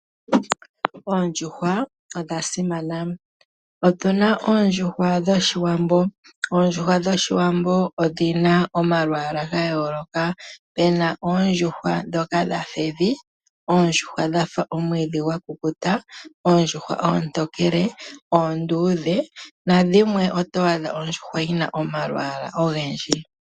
Oondjuhwa odha simana. Otuna oondjuhwa dhoshiwambo odhina omalwaala ga yooloka. Opena oondjuhwa ndhoka dhafa evi, oondjuhwa dhafa omwiidhi gwa kukuta, oondjuhwa oontokele, oonduudhe nadhimwe oto adha dhina omalwaala ogendji.